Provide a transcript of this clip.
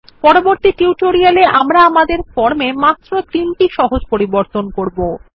পরবর্তী টিউটোরিয়ালে আমরা আমাদের ফর্ম এ মাত্র তিনটি সহজ পরিবর্তন করব